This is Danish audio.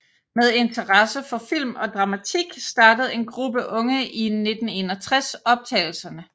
Med interesse for film og dramatik startede en gruppe unge i 1961 optagelserne